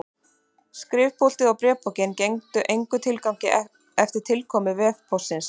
Skrifpúltið og bréfpokinn gengdu engum tilgangi eftir tilkomu vefpóstsins.